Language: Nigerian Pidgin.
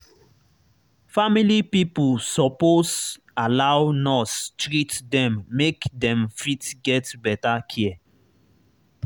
family pipo suppose allow nurse treat them make dem fit get better care